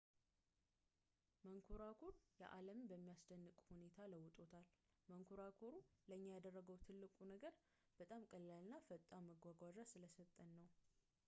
መንኰራኩር ዓለምን በሚያስደንቅ ሁኔታ ለውጦታል መንኮራኩሩ ለእኛ ያደረገው ትልቁ ነገር በጣም ቀላል እና ፈጣን መጓጓዣ ስለሰጠን ነው